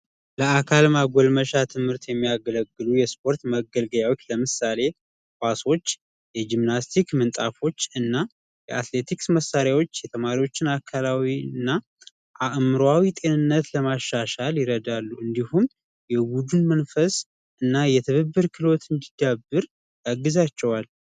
የአካል ማጎልመሻ ትምህርት የሚያገለግሉ የስፖርት መገልገያዎች ለምሳሌ ኳሶች የጂምናስቲክ ምሀፎች እና የአትሌቲክስ መሳሪያዎች የተማሪዎችን አከላዊና አእምሮአዊ ጤንነት ለማሻሻል ይረዳሉ እንዲሁም የውጭ መንፈስ እና የትብብር ግዛቸዋል